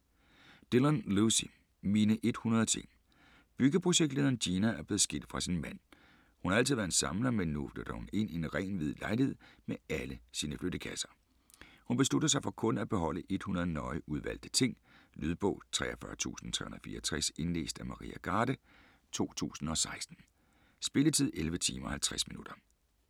Dillon, Lucy: Mine 100 ting Byggeprojektlederen Gina er blevet skilt fra sin mand. Hun har altid været en samler, men nu flytter hun ind i en ren, hvid lejlighed med alle sine flyttekasser. Hun beslutter sig for kun at beholde 100 nøje udvalgte ting. Lydbog 43364 Indlæst af Maria Garde, 2016. Spilletid: 11 timer, 50 minutter.